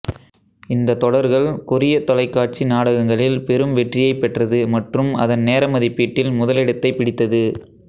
இந்த தொடர்கள் கொரியத் தொலைக்காட்சி நாடகங்களில் பெரும் வெற்றியைப் பெற்றது மற்றும் அதன் நேர மதிப்பீட்டில் முதலிடத்தைப் பிடித்தது